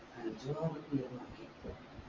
അഞ്ച് ആറോ beer വാങ്ങിന്